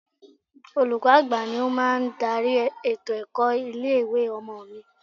Olùkọ́ àgbà ni ó máa ń darí ètò ẹ̀kọ́ ilé ìwé ọmọ mi.